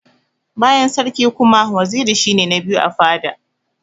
Bayan sarki kuma, waziri shi ne na biyu a fada.